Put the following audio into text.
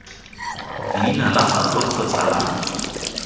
leina la gagwe kgotsa la